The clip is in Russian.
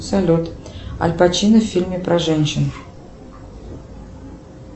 салют аль пачино в фильме про женщин